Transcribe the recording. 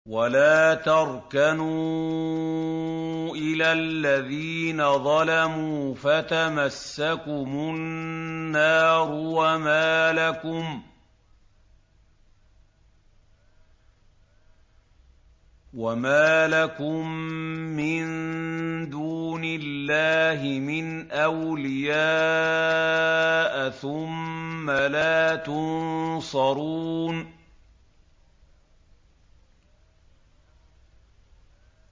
وَلَا تَرْكَنُوا إِلَى الَّذِينَ ظَلَمُوا فَتَمَسَّكُمُ النَّارُ وَمَا لَكُم مِّن دُونِ اللَّهِ مِنْ أَوْلِيَاءَ ثُمَّ لَا تُنصَرُونَ